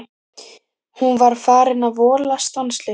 Hún var farin að vola stanslaust.